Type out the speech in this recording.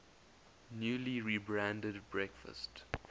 newly rebranded breakfast